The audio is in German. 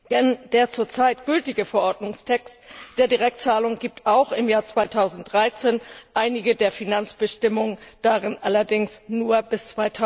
Denn der zurzeit gültige Verordnungstext über Direktzahlungen gilt auch im Jahr 2013, einige der Finanzbestimmungen darin allerdings nur bis